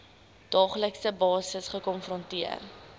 daaglikse basis gekonfronteer